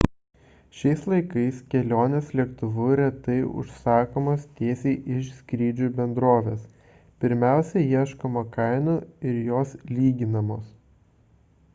šiais laikais kelionės lėktuvu retai užsakomos tiesiai iš skrydžių bendrovės – pirmiausia ieškoma kainų ir jos lyginamos